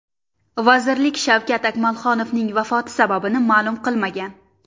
Vazirlik Shavkat Akmalxonovning vafoti sababini ma’lum qilmagan.